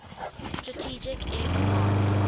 strategic air command